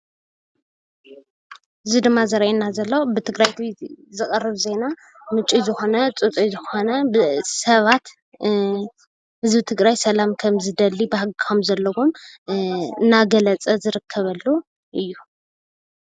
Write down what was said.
እዚ ድማ ዘርእየና ዘሎ ብትግራይ ቲቪ ዝቀርብ ዜና ምንጪ ዝኮነ ፅፁይ ዝኮነ ሰባት ህዝቢ ትግራይ ሰላም ከምዝደሊ ባህጊ ከምዘለዎ እናገለፀ ዝርከበሉ አዩ።